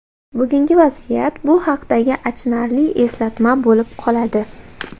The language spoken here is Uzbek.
Bugungi vaziyat – bu haqdagi achinarli eslatma bo‘lib qoladi.